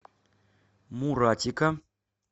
муратика